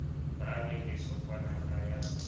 ba re lesokwana la ya